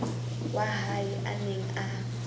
wa hae a neng a